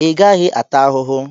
ị gaghị ata ahụhụ